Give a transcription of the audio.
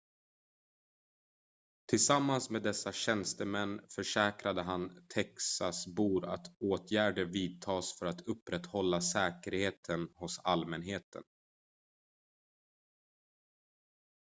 tillsammans med dessa tjänstemän försäkrade han texasbor att åtgärder vidtas för att upprätthålla säkerheten hos allmänheten